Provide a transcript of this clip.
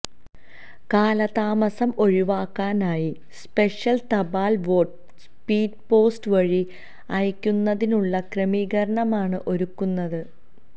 കാലതാമസം ഒഴിവാക്കാനായി സ്പെഷ്യല് തപാല് വോട്ട് സ്പീഡ് പോസ്റ്റ് വഴി അയക്കുന്നതിനുള്ള ക്രമീകരണമാണ് ഒരുക്കുന്നത്